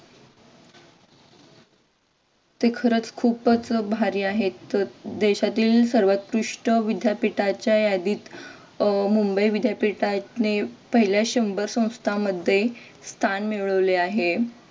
ते खरच खूपच भारी आहेत देशातील सर्वोत्कृष्ट विद्यापीठाच्या यादी अह मुंबई विद्यापीठाने पहिला शंभर संस्थांमध्ये स्थान मिळवले आहे.